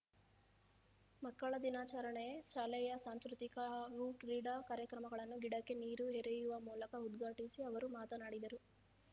ಮಕ್ಕಳ ದಿನಾಚರಣೆ ಶಾಲೆಯ ಸಾಂಸ್ಕೃತಿಕ ಹಾಗೂ ಕ್ರೀಡಾ ಕಾರ್ಯಕ್ರಮಗಳನ್ನು ಗಿಡಕ್ಕೆ ನೀರು ಎರೆಯುವ ಮೂಲಕ ಉದ್ಘಾಟಿಸಿ ಅವರು ಮಾತನಾಡಿದರು